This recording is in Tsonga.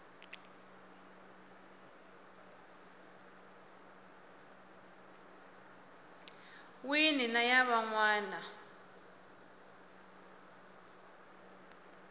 wini na ya van wana